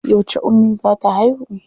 Yauce ummi za ta haihu?